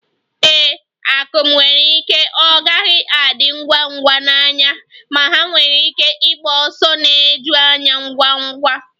Ee, akum nwere ike ọ gaghị adi ngwa ngwa n'anya, ma ha nwere ike ịgba ọsọ na-eju anya ngwa ngwa